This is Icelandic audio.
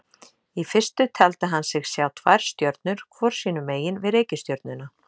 Í fyrstu taldi hann sig sjá tvær stjörnur hvor sínu megin við reikistjörnuna.